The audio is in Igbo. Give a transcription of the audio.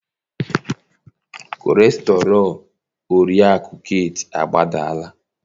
kọlesterọl oriakụ Kate agbadala